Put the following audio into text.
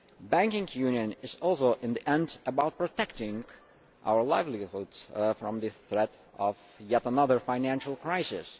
Banking union is also in the end about protecting our livelihoods from the threat of yet another financial crisis.